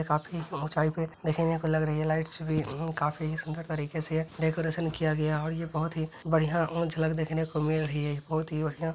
काफी ऊंचाई पे देखने को लग रही है लाइट्स भी उम काफी सुंदर तरीके से डेकोरेशन किया गया है और ये बहुत ही बढ़िया और झलक उह देखने को मिल रही है बहुत ही बढ़िया --